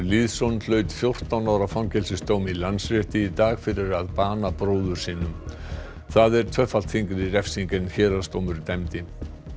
Lýðsson hlaut fjórtán ára fangelsisdóm í Landsrétti í dag fyrir að bana bróður sínum það er tvöfalt þyngri refsing en héraðsdómur dæmdi